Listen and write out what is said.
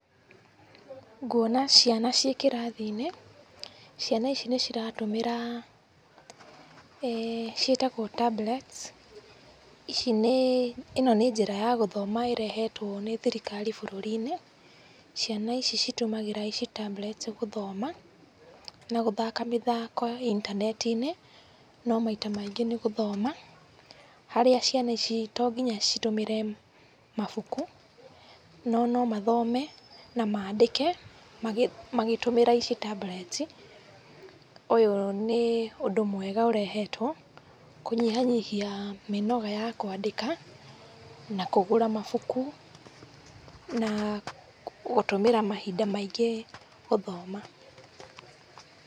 Nguona ciana ciĩ kĩrathinĩ. Ciana ici nĩ ciratũmĩra, ciĩtagwo tablets. Ĩno nĩ njĩra ya gũthoma ĩrehetwo nĩ thirikari bũruriinĩ. Ciana ici citũmagĩra ici tablets gũthoma na gũthaka mĩthako intanetiinĩ. No maita maingĩ nĩ gũthoma, harĩa ciana ici tonginya citũmĩre mabuku. No nomathome na maandĩke magĩtũmĩra ici tablets. Ũyũ nĩ ũndũ mwega ũrehetwo kũnyihanyihia mĩnoga ya kwandĩka na kũgũra mabũkũ. Na gũtũmĩra mahinda maingĩ gũthoma.